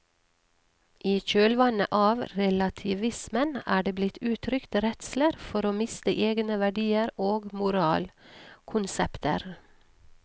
I kjølvannet av relativismen er det blitt uttrykt redsler for å miste egne verdier og moralkonsepter.